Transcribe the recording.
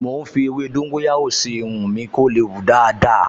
Mò ń fi ewé dóńgóyárò sí irun mi kó lè hù dáadáa